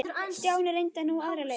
Stjáni reyndi nú aðra leið.